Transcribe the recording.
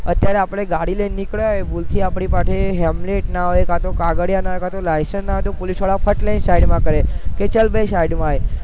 અત્યારે આપડે ગાડી લઈને નીકળયા ભૂલ થી આપડી પાસે helmet ના હોય કાતો કાગળિયા ના હોય કાતો licence ન હોય તો પોલીસ વારા ફટ લઇ ને side માં કરે કે ચાલ ભાઈ side માં આય